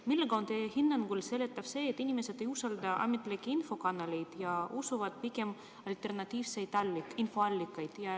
Millega on teie hinnangul seletatav see, et inimesed ei usalda ametlikke infokanaleid ja usuvad pigem alternatiivseid infoallikaid?